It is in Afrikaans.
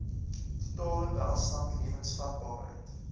totale welstand lewensvatbaarheid